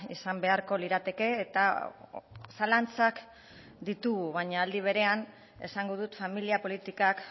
izan beharko lirateke eta zalantzak ditugu baina aldi berean esango dut familia politikak